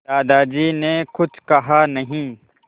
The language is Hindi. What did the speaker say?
दादाजी ने कुछ कहा नहीं